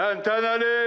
Təntənəli!